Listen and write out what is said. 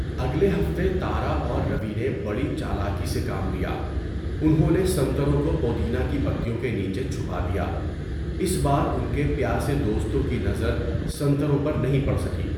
اگلے ہفتے تارا اور روی نے بڑی چالاکی سے کام لیا۔ انہوں نے سنتروں کو پودینہ کی پتیوں کے نیچے چھپا دیا۔ اس بار ان کے پیاسے دوستوں کی نظر سنتروں پر نہیں پڑ سکی۔